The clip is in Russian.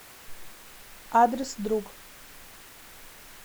адрес друг